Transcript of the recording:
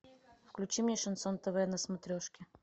включи мне шансон тв на смотрешке